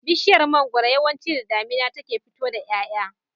Bishiyar mangwaro yawanci da damina take fito da y'ay'a